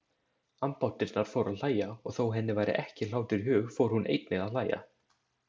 Ambáttirnar fóru að hlæja og þó henni væri ekki hlátur í hug fór hún einnig að hlæja.